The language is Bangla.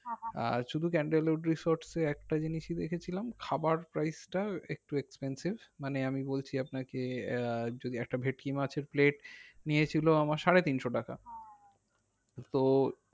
শুধু ক্যান্ডল উড resort এ একটা জিনিসই দেখেছিলাম খাবার price টাই একটু expensive মানে আমি বলছি আপনাকে আহ যদি একটা ভেটকি মাছের plate নিয়েছিল আমার সাড়েতিনশো টাকা তো